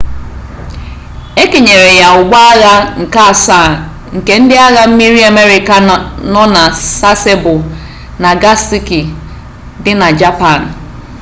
e kenyere ya ụgbọagha nke asaa nke ndị agha mmiri amerịka nọ na sasebo nagasaki dị na japan